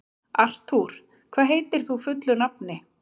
Artúr, hvað heitir þú fullu nafni?